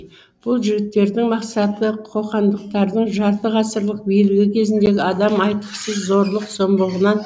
бұл жігіттердің мақсаты қоқандықтардың жарты ғасырлық билігі кезіндегі адам айтқысыз зорлық зомбылығынан